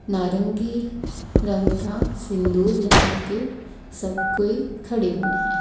नारंगी रंग का सिंदूर लगाके सब कोई खड़े हुएं हैं।